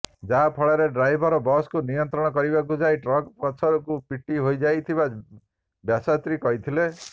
ଯାହାଫଳରେ ଡ୍ରାଇଭର ବସ୍କୁ ନିୟନ୍ତ୍ରଣ କରିବାକୁ ଯାଇ ଟ୍ରକ ପଛକୁ ପିଟି ହୋଇଯାଇଥିବା ବସ୍ୟାତ୍ରୀ କହିଥିଲେ